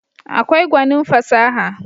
akwai gwanin fasaha